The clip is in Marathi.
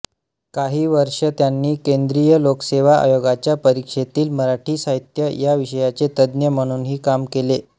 काही वर्षे त्यांनी केंद्रीय लोकसेवा आयोगाच्या परीक्षेतील मराठी साहित्य या विषयाचे तज्ज्ञ म्हणूनही काम केले